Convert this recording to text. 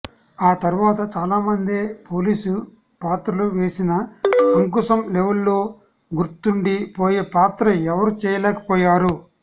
ఆ తర్వాత చాలామందే పోలీస్ పాత్రలు వేసిన అంకుశం లెవల్లో గుర్తుండి పోయే పాత్ర ఎవరు చేయలేకపోయారు